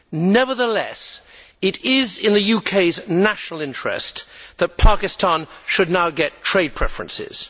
Nevertheless, it is in the UK's national interest that Pakistan should now get trade preferences.